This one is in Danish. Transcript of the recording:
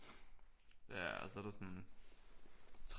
Ja og så er der sådan